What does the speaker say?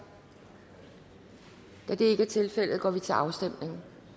da det ikke er tilfældet går vi til afstemning